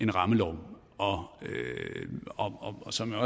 rammelov og som jeg